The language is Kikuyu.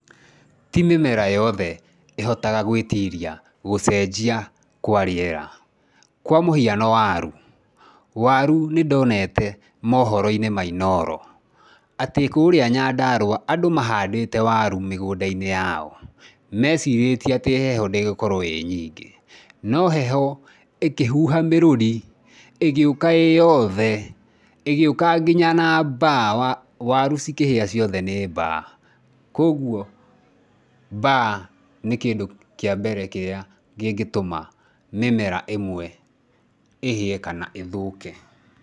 Ti mĩmera yothe ĩhotaga gwĩtiria gũcenjia kwa rĩera. Kwa mũhiano waru, waru nĩ ndonete mohoro-inĩ ma Inooro, atĩ kũria Nyandarũa andũ mahandĩte waru mĩgũnda-inĩ yao, mecirĩtie atĩ heho ndĩgũkorwo ĩnyingĩ, no heho ĩkĩhuha mĩrũri, ĩgĩũka ĩyothe, ĩgĩuka nginya na mbaa, waru cikĩhĩa ciothe nĩ mbaa, kwoguo mbaa, nĩ kĩndũ kĩa mbere kĩrĩa kĩngĩtũma mĩmera ĩmwe ĩhĩe kana ĩthũke.